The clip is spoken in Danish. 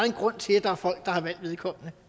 en grund til at der er folk der har valgt vedkommende